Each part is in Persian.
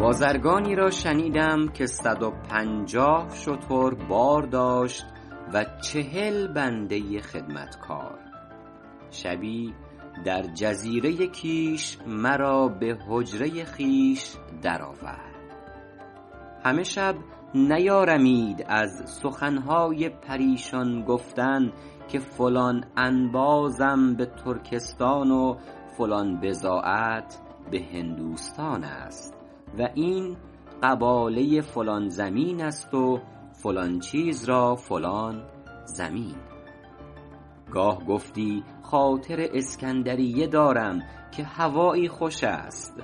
بازرگانی را شنیدم که صد و پنجاه شتر بار داشت و چهل بنده خدمتکار شبی در جزیره کیش مرا به حجره خویش در آورد همه شب نیارمید از سخن های پریشان گفتن که فلان انبازم به ترکستان و فلان بضاعت به هندوستان است و این قباله فلان زمین است و فلان چیز را فلان ضمین گاه گفتی خاطر اسکندریه دارم که هوایی خوش است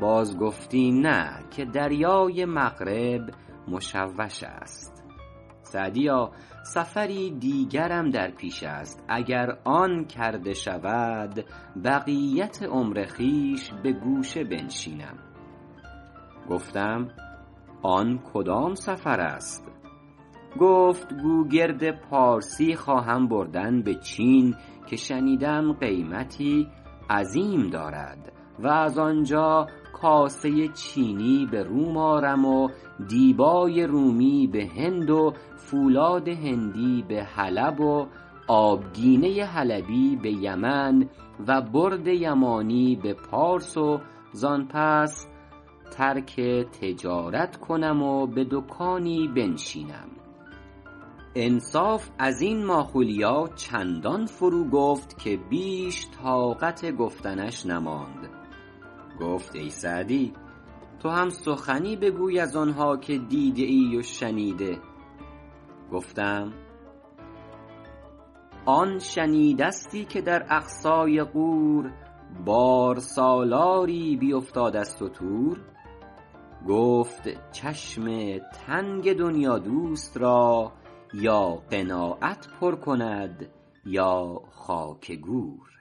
باز گفتی نه که دریای مغرب مشوش است سعدیا سفری دیگرم در پیش است اگر آن کرده شود بقیت عمر خویش به گوشه بنشینم گفتم آن کدام سفر است گفت گوگرد پارسی خواهم بردن به چین که شنیدم قیمتی عظیم دارد و از آنجا کاسه چینی به روم آرم و دیبای رومی به هند و فولاد هندی به حلب و آبگینه حلبی به یمن و برد یمانی به پارس و زآن پس ترک تجارت کنم و به دکانی بنشینم انصاف از این ماخولیا چندان فرو گفت که بیش طاقت گفتنش نماند گفت ای سعدی تو هم سخنی بگوی از آن ها که دیده ای و شنیده گفتم آن شنیدستی که در اقصای غور بارسالاری بیفتاد از ستور گفت چشم تنگ دنیادوست را یا قناعت پر کند یا خاک گور